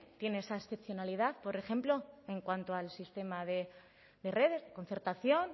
tiene esa excepcionalidad por ejemplo en cuanto al sistema de redes concertación